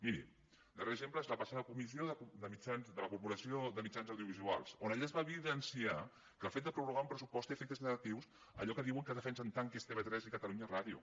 miri el darrer exemple és la passada comissió de la corporació de mitjans audiovisuals on es va evidenciar que el fet de prorrogar un pressupost té efectes negatius a allò que diuen que defensen tant que és tv3 i catalunya ràdio